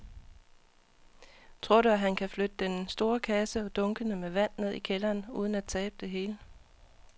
Tror du, at han kan flytte den store kasse og dunkene med vand ned i kælderen uden at tabe det hele?